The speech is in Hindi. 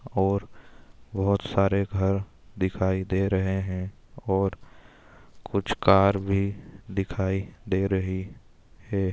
और बोहोत सारे घर दिखाई दे रहै है और कुछ कार भी दिखाई दे रही है।